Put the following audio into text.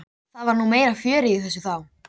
Það var nú meira fjörið í þessu þá.